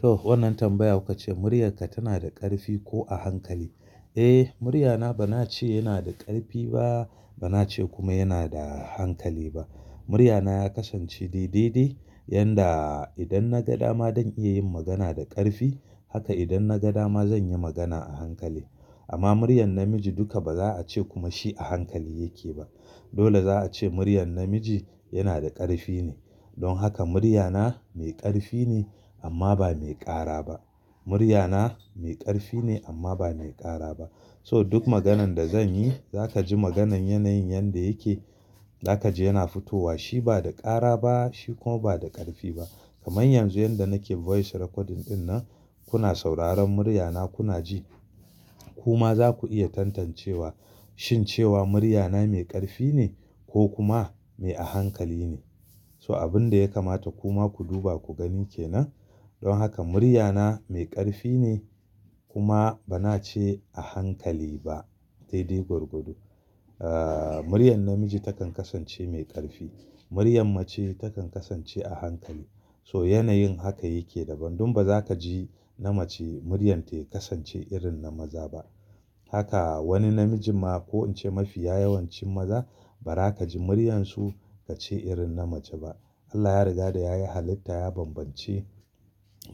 Toh wannan tambaya kukace muryarka tana da ƙarfi ko a hankali? Eh muryana bana ce yana da ƙarfi ba bana ce kuma yana da hankali ba. Muryana ya kasance daidai dai yanda idan na ga dama zan iya yin magana da ƙarfi haka idan na ga dama zan yi magana a hankali. Amma muryar namiji duka baza a ce kuma shi a hankali yake ba. Dole za a ce muryar namiji yana da ƙarfi ne. Don haka muryana mai ƙarfi ne amma ba mai ƙara ba. Muryana mai ƙarfi ne amma ba mai ƙara ba. So duk maganan da zan yi za ka ji maganan yanayin yanda yake za ka ji yana fitowa. Shi ba da ƙara ba shi kuma ba da ƙarfi ba. Kamar yanzu yanda nake voice recording ɗin nan kuna sauraron muryana kuna ji. Ku ma zaku iya tantancewa shin cewa muryana mai ƙarfi ne ko kuma mai a hankali ne. So abun da ya kamata ku ma ku duba ku gani kenan. Don haka muryana mai ƙarfi ne kuma bana ce a hankali ba. Sai dai gwargwado. Ah muryar namiji takan kasance mai ƙarfi. Muryan mace takan kasance a hankali. So yanayin haka yake daban. Don baza ka ji na mace muryar ta kasance irin na maza ba. Haka wani namiji ma ko in ce mafiya yawancin maza baza ka ji muryansu ka ce irin na mace ba. Allah ya riga da yayi halitta ya bambance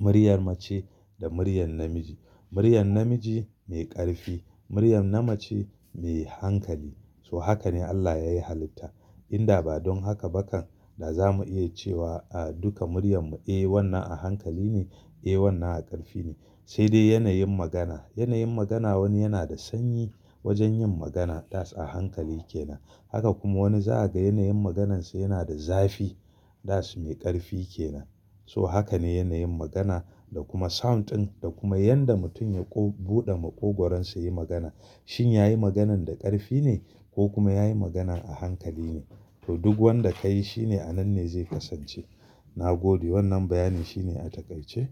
muryar mace da muryar namiji. Muryar namiji mai ƙarfi. Muryar namace mai hankali. So haka ne Allah yayi halitta. Inda ba don haka bakan da zamu iya cewa a duka muryar mu, “Eh wannan a hankali ne. Eh wannan a ƙarfi ne.” Sai dai yanayin magana. Yanayin magana wani yana da sanyi wajen yin magana that's a hankali kenan. Haka kuma wani za a ga yanayin maganarsa yana da zafi that's mai ƙarfi kenan. So haka ne yanayin magana da kuma sound ɗin da kuma yanda mutum ya buɗe maƙogwaronsa ya yi magana. Shin ya yi maganan da ƙarfi ne ko kuma ya yi magana a hankali ne? Toh duk wanda ka yi shine a nan ne zai kasance. Na gode wannan bayani shine a takaice.